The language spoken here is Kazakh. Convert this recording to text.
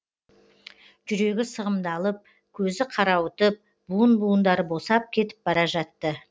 жүрегі сығымдалып көзі қарауытып буын буындары босап кетіп бара жатты